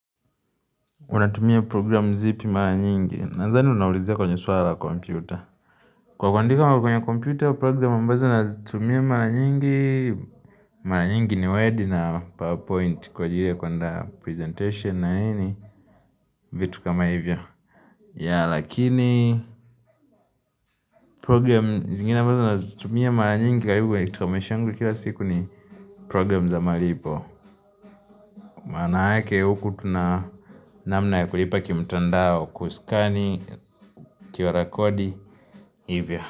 Unatumia program zipi mara nyingi? Nadhani unaulizia kwenye swala la kompyuta. Kwa kundika kwenye kompyuta, program ambazo nazitumia mara nyingi. Mara nyingi ni word na powerpoint kwa ajiri ya kuandaa presentation na vitu kama hivyo. Ya lakini program zingine ambazo nazitumia mara nyingi karibu kwa maisha yangu kila siku ni program za malipo. Manake huku tuna namna ya kulipa kimtandao kuskani ukiwarekodi. Hivyo.